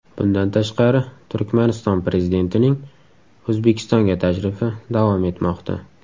Bundan tashqari Turkmaniston prezidentining O‘zbekistonga tashrifi davom etmoqda.